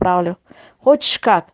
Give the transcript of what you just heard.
правлю хочешь как